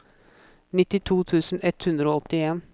nittito tusen ett hundre og åttien